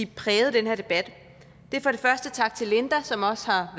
præget den her debat det er for det første tak til linda som også har